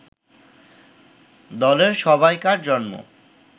দলের সবাইকার জন্ম